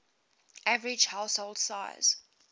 average household size